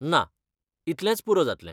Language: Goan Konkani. ना, इतलेंच पुरो जातलें.